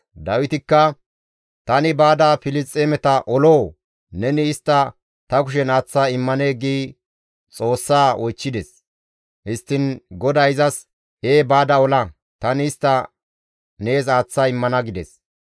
Dawitikka, «Tani baada Filisxeemeta oloo? Neni istta ta kushen aaththa immanee?» gi Xoossaa oychchides. Histtiin GODAY izas, «Ee baada ola; tani istta nees aaththa immana» gides.